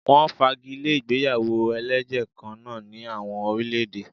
Wọ́n fagi lé ìgbéyàwó ẹlẹ́jẹ̀ kan náà ní àwọn orílè-èdè.